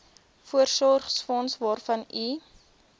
voorsorgsfonds waarvan u